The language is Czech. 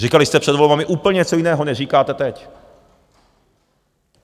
Říkali jste před volbami úplně něco jiného, než říkáte teď.